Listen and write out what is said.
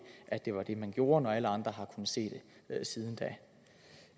at det var det man gjorde når alle andre har kunnet se det siden